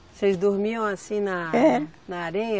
Vocês dormiam assim na. É. Na areia?